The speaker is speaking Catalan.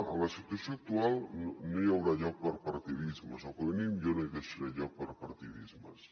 en la situació actual no hi haurà lloc per a partidismes o com a mínim jo no hi deixaré lloc per a partidismes